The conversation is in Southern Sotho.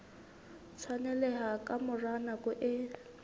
tshwaneleha ka mora nako e